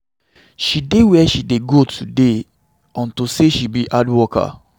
She dey where she dey today unto say she be hard worker.